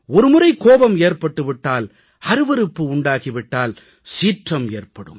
ஒரு முறை கோபம் ஏற்பட்டு விட்டால் அருவருப்பு உண்டாகி விட்டால் சீற்றம் ஏற்படும்